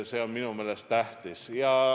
See on minu meelest tähtis.